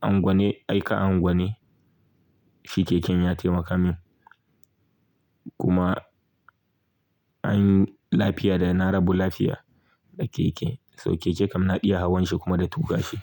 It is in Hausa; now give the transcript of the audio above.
anguwane, aika anguwane shi keken ya taimaka min kuma an yi lafiya dai na rabu lafiya da keke. So keke kam na iya hawan shi kuma da tuƙa shi.